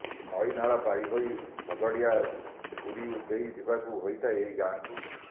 ନଇ ନାଳ ପାରି ହୋଇ ଶଗଡିଆ ହୁରି ଦେଇ ଯିବାକୁ ହୋଇଥାଏ ଏହି ଗାଁକୁ